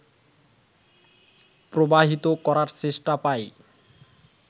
প্রবাহিত করার চেষ্টা পাই